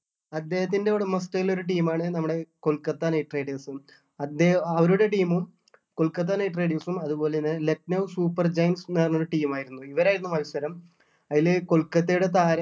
അദ്ദേഹത്തിൻ്റെ ഉടമസ്ഥതയിൽ ഉള്ള team ആണ് നമ്മുടെ കൊൽക്കത്ത knight riders ഉം അദ്ദേ അവരുടെ team ഉം കൊൽക്കത്ത knight riders ഉം അതുപോലെ തന്നെ ലക്‌നൗ super gangs എന്ന് പറഞ്ഞൊരു team ആയിരുന്നു ഇവരായിരുന്നു മത്സരം അതില് കൊൽക്കത്തയുടെ താരം